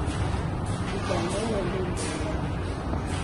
Duka ĩno ĩrendia ĩndo wega mũno